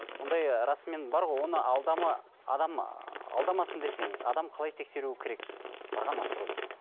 ондай ы расымен бар ғой оны адам ыыы алдамасын десеңіз адам қалай тексеруі керек барған астрологты